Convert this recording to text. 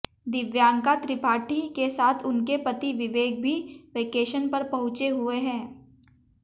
दिव्यांका त्रिपाठी के साथ उनके पति विवेक भी वेकेशन पर पहुंचे हुए हैं